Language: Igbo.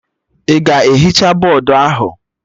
Ị ga-ehicha bọdụ ahụ?